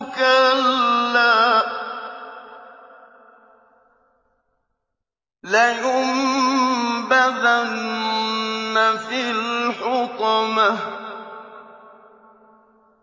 كَلَّا ۖ لَيُنبَذَنَّ فِي الْحُطَمَةِ